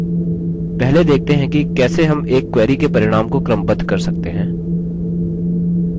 पहले देखते हैं कि कैसे हम एक query के परिणाम को क्रमबद्ध कर सकते हैं